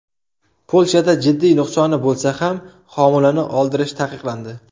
Polshada jiddiy nuqsoni bo‘lsa ham homilani oldirish taqiqlandi.